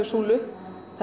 súlu